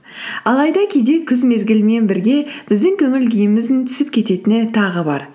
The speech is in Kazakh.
алайда кейде күз мезгілімен бірге біздің көңіл күйіміздің түсіп кететіні тағы бар